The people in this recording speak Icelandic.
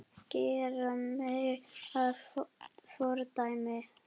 Gera mig að fordæmi?